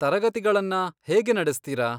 ತರಗತಿಗಳನ್ನ ಹೇಗೆ ನಡೆಸ್ತೀರಾ?